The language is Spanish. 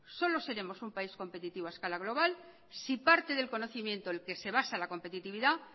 solo seremos un país competitivo a escala global si parte del conocimiento en que se basa la competitividad